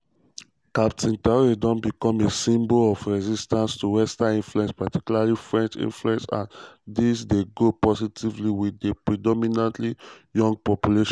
captain traoré don becom a symbol of resistance to western influence particularly french influence and dis dey go positively wit di predominantly young population.